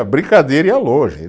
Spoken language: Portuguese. A brincadeira ia longe.